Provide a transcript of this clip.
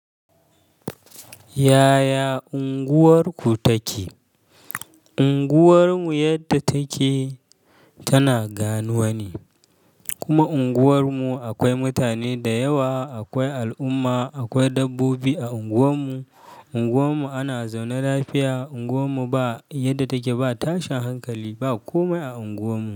Yaya unguwarku take? Unguwarmu yadda take tana ganuwa ne. Kuma unguwarmu akwai mutane da yawa, akwai al'umma, akwai dabbobi a unguwarmu. Unguwarmu ana zaune lafiya. Unguwarmu ba yadda take ba tashin hankali, ba komai a unguwarmu.